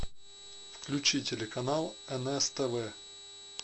включи телеканал нс тв